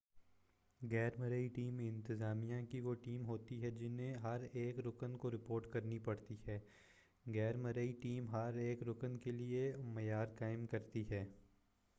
غیر مرئی ٹیم انتظامیہ کی وہ ٹیم ہوتی ہے جنہیں ہر ایک رکن کو رپورٹ کرنی پڑتی ہے غیر مرئی ٹیم ہر ایک رکن کیلئے معیار قائم کرتی ہے